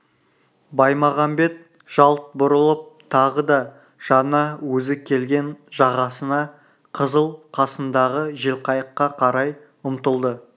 баймағамбет жалт бұрылып тағы да жаңа өзі келген жағасына қызыл қасындағы желқайыққа қарай ұмтылды